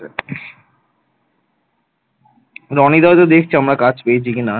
রনি দাও তো দেখছে আমরা কাজ পেয়েছি কিনা